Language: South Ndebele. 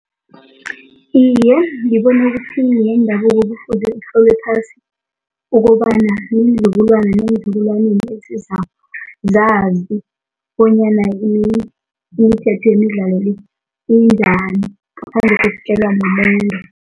Iye, ngibona ukuthi yendabuko kufuze itlolwe phasi ukobana iinzukulwana neenzukulwaneni esizako zazi bonyana yini imithetho yemidlalo le injani, ngaphandle kokutjelwa mumuntu.